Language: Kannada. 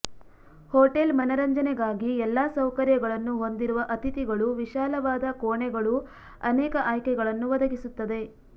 ಹೋಟೆಲ್ ಮನರಂಜನೆಗಾಗಿ ಎಲ್ಲಾ ಸೌಕರ್ಯಗಳನ್ನು ಹೊಂದಿರುವ ಅತಿಥಿಗಳು ವಿಶಾಲವಾದ ಕೋಣೆಗಳು ಅನೇಕ ಆಯ್ಕೆಗಳನ್ನು ಒದಗಿಸುತ್ತದೆ